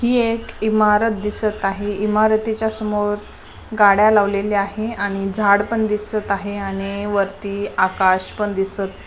ही एक इमारत दिसत आहे इमारतीच्या समोर गाड्या लावलेल्या आहे आणि झाड पण दिसत आहे आणि वरती आकाश पण दिसत--